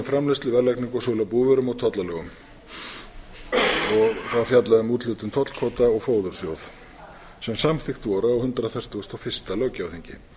framleiðslu verðlagningu og sölu á búvörum og tollalögum það fjallaði um úthlutun tollkvóta og fóðursjóð sem samþykkt voru á hundrað fertugasta og fyrsta löggjafarþingi